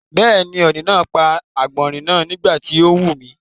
Bẹ́ẹ̀ni, ọ̀ni náà pa àgbọ̀nrín náà nígbà tí ó ń mumi.